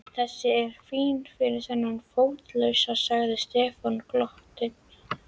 Þessi er fín fyrir þennan fótalausa sagði Stefán og glotti.